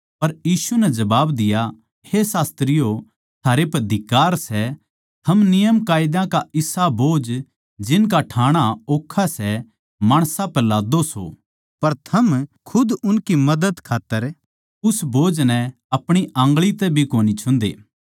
पर यीशु नै जबाब दिया हे शास्त्रियो थारै पै धिक्कार सै थम नियमकायदा का इसा बोझ जिनका ठाणा ओक्खा सै माणसां पै लाद्दो सो पर थम खुद उनकी मदद खात्तर उस बोझ नै अपणी आन्गळी तै भी कोनी छुन्दे